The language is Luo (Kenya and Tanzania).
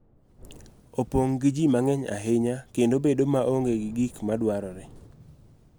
Opong� gi ji mang�eny ahinya, kendo bedo maonge gi gik ma dwarore.